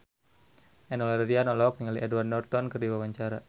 Enno Lerian olohok ningali Edward Norton keur diwawancara